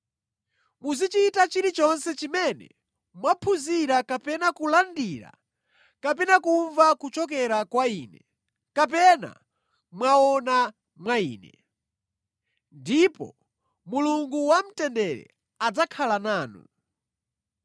Muzichita chilichonse chimene mwaphunzira kapena kulandira kapena kumva kuchokera kwa ine kapena mwaona mwa ine. Ndipo Mulungu wamtendere adzakhala nanu.